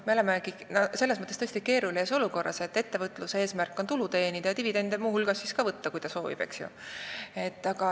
Me oleme selles mõttes tõesti keerulises olukorras, et ettevõtluse eesmärk on teenida tulu ja soovi korral muu hulgas võtta ka dividende.